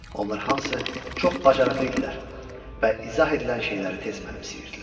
Onlar hamısı çox bacarıqlı idilər və izah edilən şeyləri tez mənimsəyirdilər.